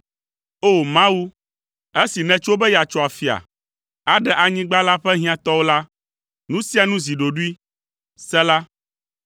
O! Mawu, esi nètso be yeatso afia, aɖe anyigba la ƒe hiãtɔwo la, nu sia nu zi ɖoɖoe. Sela